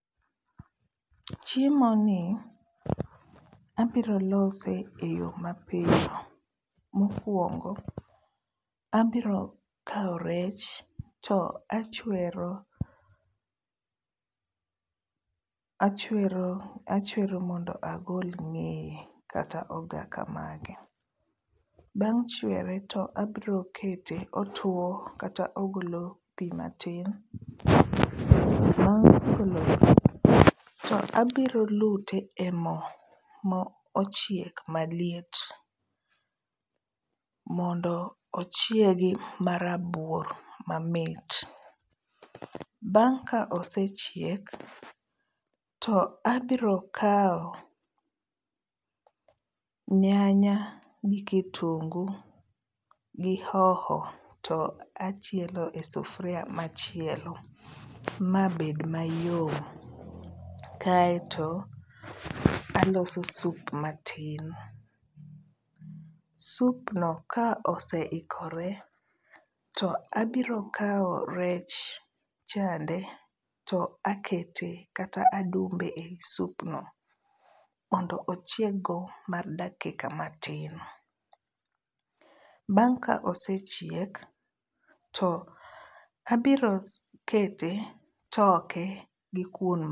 Chiemo ni abiro lose e yoo mapiyo. Mokwongo, abiro kawo rech to achwero, achwero achwero mondo agol ng'eye kata ogaka mare. Bang' chwere to abro kete otuo kata ogolo pii matin. to abro lute e moo mo ochiek maliet mondo ochiegi marabuor mamit. Bang' ka osechiek to abro kawo nyanya gi kitungu gi hoho to achielo e sufuria machielo mabed mayom kaeto aloso sup matin. Sup no ka oseikore to abiro kawo rech chande to akete kata adumbe e supno mondo ochieg go mar dakika matin. Bang' ka osechiek to abiro kete toke gi kuon,